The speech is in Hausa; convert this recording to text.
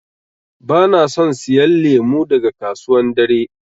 Bana son siyan lemu daga kasuwan dare.